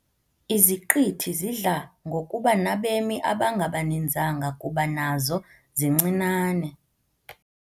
Iziqithi zidla ngokuba nabemi abangabaninzanga kuba nazo zincinane.